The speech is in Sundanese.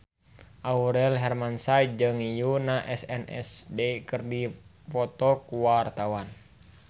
Aurel Hermansyah jeung Yoona SNSD keur dipoto ku wartawan